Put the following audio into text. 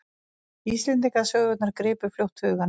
Íslendingasögurnar gripu fljótt hugann.